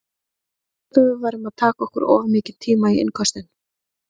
Þeir sögðu að við værum að taka okkur of mikinn tíma í innköstin.